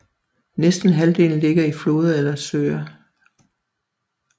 Næsten halvdelen ligger i floder eller søer